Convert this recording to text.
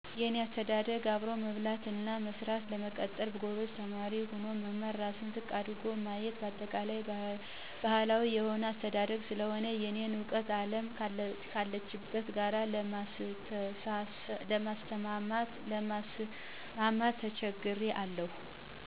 የኔ አስተዳደግ አብሮ መብላት እና መስራት፣ ለመቀጠር ጎበዝ ተማሪ ሆኖ መማር፣ ራስን ዝቅ አድርጎ ማየት በአጠቃላይ ባህላዊ የሆነ አስተዳግ ስለሆነ የእኔን እውቀት አለም ካለችበት ጋር ለማስማማት ተቸግሬአለሁ።